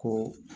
Ko